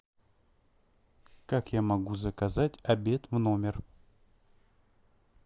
как я могу заказать обед в номер